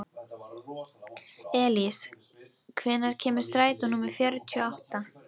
Elís, hvenær kemur strætó númer fjörutíu og átta?